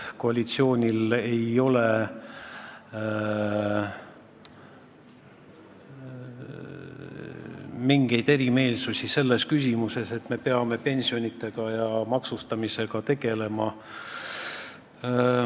Koalitsioonil ei ole mingeid erimeelsusi selles küsimuses: me peame pensionitega ja maksustamisega tegelema.